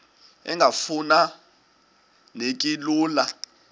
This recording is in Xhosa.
engafuma neki lula